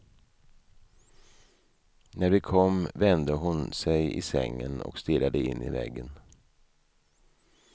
När vi kom vände hon sig i sängen och stirrade in i väggen.